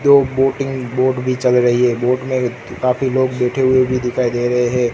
Boating boat भी चल रही है बोट में काफी लोग बैठे हुए भी दिखाई दे रहें हैं।